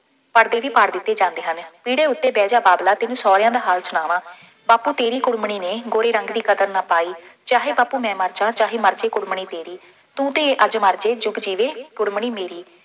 ਪਰਦੇ ਵੀ ਪਾੜ ਦਿੱਤੇ ਜਾਂਦੇ ਹਨ। ਪੀੜ੍ਹੇ ਉੱਤੇ ਬਹਿ ਜਾ ਬਾਬਲਾ, ਤੈਨੂੰ ਸਹੁਰਿਆਂ ਦਾ ਹਾਲ ਸੁਣਾਵਾਂ, ਬਾਪੂ ਤੇਰੀ ਕੁੜਮਣੀ ਨੇ ਗੋਰੇ ਰੰਗ ਦੀ ਕਦਰ ਨਾ ਪਾਈ, ਚਾਹੇ ਬਾਪੂ ਮੈਂ ਮਰ ਜਾਂ, ਚਾਹੇ ਮਰ ਜੇ ਕੁੜਮਣੀ ਤੇਰੀ, ਤੂੰ ਤੇ ਅੱਜ ਮਰ ਜੇਂ ਜੁੱਗ ਜੀਵੇ ਕੁੜਮਣੀ ਮੇਰੀ।